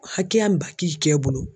Hakɛya min ba k'i kɛ bolo.